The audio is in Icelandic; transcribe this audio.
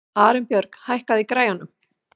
Arinbjörg, hækkaðu í græjunum.